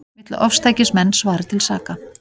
Vill að ofstækismenn svari til saka